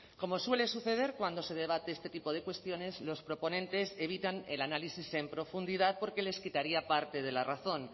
como suele suceder cuando se debate este tipo de cuestiones los proponentes evitan el análisis en profundidad porque les quitaría parte de la razón